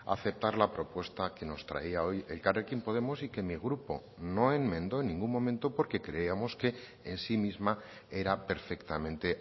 aceptar la propuesta que nos traía hoy elkarrekin podemos y que mi grupo no enmendó en ningún momento porque creíamos que en si misma era perfectamente